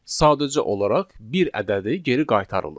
Sadəcə olaraq bir ədədi geri qaytarılır.